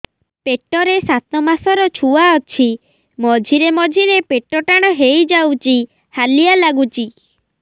ପେଟ ରେ ସାତମାସର ଛୁଆ ଅଛି ମଝିରେ ମଝିରେ ପେଟ ଟାଣ ହେଇଯାଉଚି ହାଲିଆ ଲାଗୁଚି